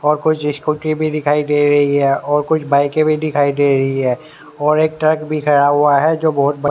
और कुछ स्कूटी भी दिखाई दे रही है और कुछ बाईके भी दिखाई दे रही है और एक ट्रक भी खड़ा हुआ है जो बहोत बड़ा --